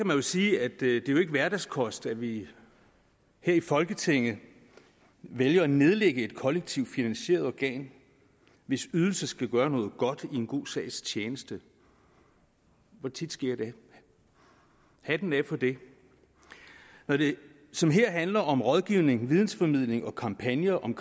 vel sige at det jo ikke er hverdagskost at vi her i folketinget vælger at nedlægge et kollektivt finansieret organ hvis ydelser skal gøre noget godt i en god sags tjeneste hvor tit sker det hatten af for det når det som her handler om rådgivning videnformidling og kampagner om